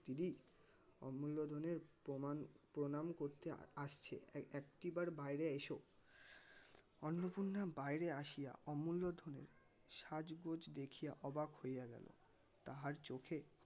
দিদি অমুল্য ধনের প্রমান প্রনাম করতে আসছে একটি বার বাইরে এসো অন্নপূর্ণা বাইরে আসিয়া অমুল্য ধনের সাজগোজ দেখিয়া অবাক হইয়া গেল. তাহার চোখে